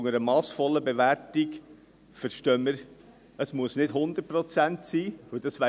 Unter einer massvollen Bewertung verstehen wir, dass es nicht 100 Prozent sein müssen.